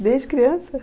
Desde criança?